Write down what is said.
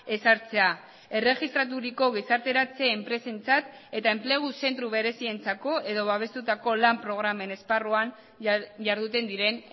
ezartzea erregistraturiko gizarteratze enpresentzat eta enplegu zentro berezientzako edo babestutako lan programen esparruan jarduten diren